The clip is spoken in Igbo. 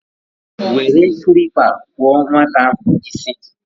were kilipa kpuo nwata ahu isi